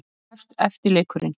En nú hefst eftirleikurinn.